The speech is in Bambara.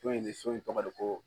Dɔ in ne so in tɔgɔ de ko